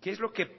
qué es lo que